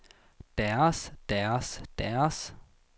deres deres deres